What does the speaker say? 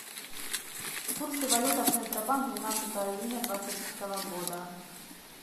курсы валют от центробанк двенадцатого июня двадцатого года